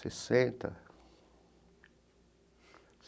Sessenta.